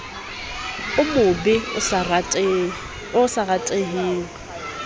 o mobe o sa rateheng